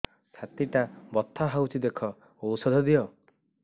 ଛାତି ଟା ବଥା ହଉଚି ଦେଖ ଔଷଧ ଦିଅ